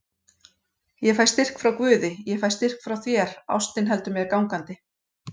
Ég fæ styrk frá guði, ég fæ styrk frá þér, ástin heldur mér gangandi.